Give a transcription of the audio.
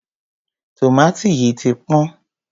tòmátì yìí ti pọ́n.